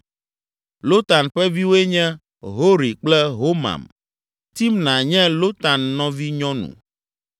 Lotan ƒe viwoe nye Hori kple Homam. Timna nye Lotan nɔvinyɔnu.